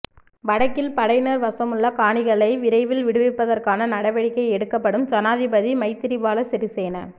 வடக்கில் படையினர் வசமுள்ள காணிகளை விரைவில் விடுவிப்பதற்கான நடவடிக்கை எடுக்கப்படும்ஜனாதிபதி மைத்திரிபால சிறிசேன